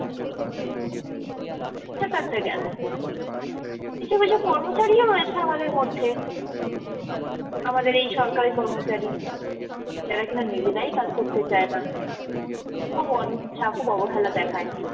এটা তো একটা গেলো কিছু কিছু কর্মচারীও রয়েছে আমাদের মধ্যে, আমাদের এই সরকারি কর্মচারী, যারা কিনা নিজেরাই কাজ করতে চায় না, খুব অনিচ্ছা খুব অবহেলা দেখায়